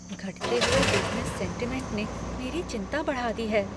घटते हुए business sentiment ने मेरी चिंता बढ़ा दी है।